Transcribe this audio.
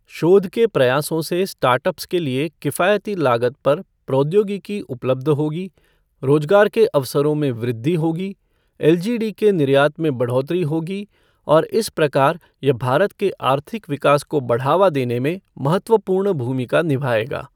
शोध के प्रयासों से स्टार्टअप्स के लिए किफायती लागत पर प्रौद्योगिकी उपलब्ध होगी, रोजगार के अवसरों में वृद्धि होगी, एलजीडी के निर्यात में बढ़ोतरी होगी और इस प्रकार यह भारत के आर्थिक विकास को बढ़ावा देने में महत्वपूर्ण भूमिका निभाएगा।